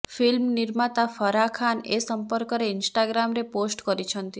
film ନିର୍ମାତା ଫାର୍ହା ଖାନ୍ ଏ ସଂପର୍କରେ ଇନଷ୍ଟାଗ୍ରାମରେ ପୋଷ୍ଟ କରିଛନ୍ତି